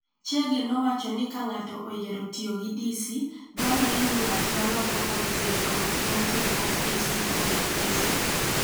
Chege nowacho ni ka ng'ato oyiero tiyo gi DC, dwarore ni ng'at ma loko voltage olok voltage mar AC obed DC.